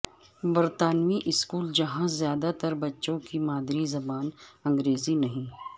برطانوی اسکول جہاں زیادہ تر بچوں کی مادری زبان انگریزی نہیں